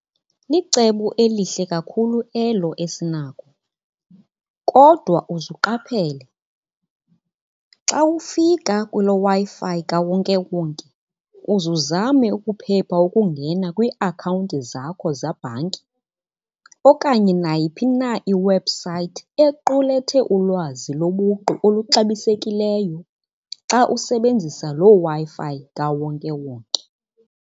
Licebo elihle kakhulu elo Esinako. Kodwa uzuqaphele xa ufika kuloo Wi-Fi kawonkewonke uzuzame ukuphepha ukungena kwiiakhawunti zakho zebhanki okanye nayiphi na iwebhusayithi equlethe ulwazi lobuqu oluxabisekileyo xa usebenzisa loo Wi-Fi kawonkewonke.